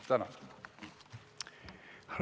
Tänan!